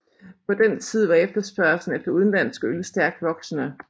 På den tid var efterspørgslen efter udenlandsk øl stærkt voksende